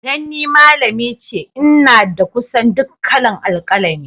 Dan ni malami ce, n'na da kusan duk kala'n alkalami.